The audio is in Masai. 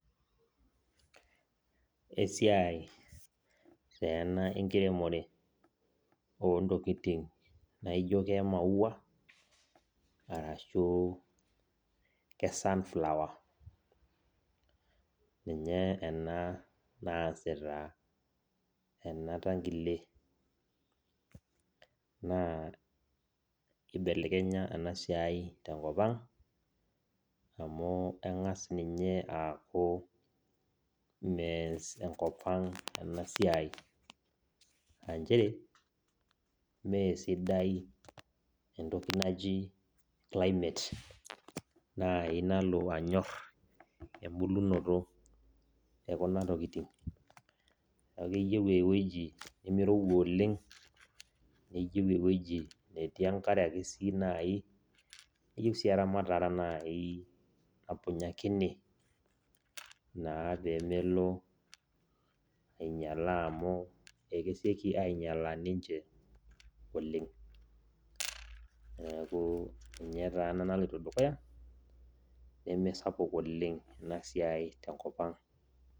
Esiai ta ena enkiremore ontokitin naijo kemaua arashu ke sunflower ninye ena naasita enatangile na kibelekenya enasiai tenkop aang amu engas ninye aaku meas enkop aang enasiai aanchere me sidai entoki naji climate melo anyor embulunoto ekuna tokitin neaku keyieu ewoi nimirowua oleng neyieu ewoji natii enkare, keyieu nai eramatare napunyakini naa pemelo na ainyala amu akeseki ainyala ninche oleng neaku ninye ena naloito dukuya nemesapuk enasiai tenkop aang.